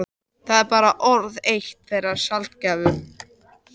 Það var bara orð, eitt þeirra sjaldgæfu.